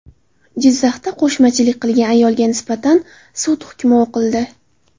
Jizzaxda qo‘shmachilik qilgan ayolga nisbatan sud hukmi o‘qildi.